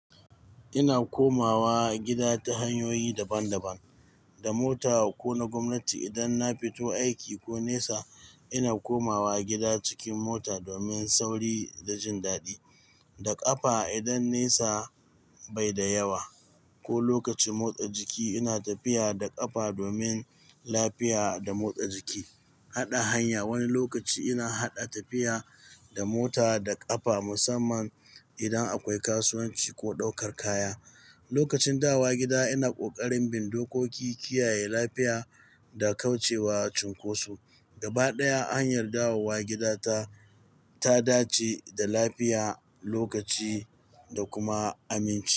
Ina komawa gida ta hanyoyi daban-daban. Da mota ko na gwamnati idan na fito aiki ko nesa, ina komawa gida cikin mota domin sauri da jin daɗi. Da ƙafa idan nesa bai da yawa ko lokacin motsa jiki, ina tafiya da ƙafa domin lafiya da motsa jiki. Haɗa hanya, wani lokaci ina haɗa tafiya da mota da ƙafa musamman idan akwai kasuwanci ko ɗaukar kaya. Lokacin dawowa gida ina ƙoƙarin bin dokoki, kiyaye lafiya da kauce wa cunkoso. Gaba ɗaya hanyar dawowa gida ta ta dace da lafiya, lokaci da kuma aminci.